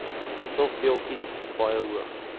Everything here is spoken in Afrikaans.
stofdeeltjies baie hoog